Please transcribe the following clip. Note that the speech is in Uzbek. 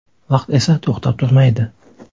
Vaqt esa to‘xtab turmaydi.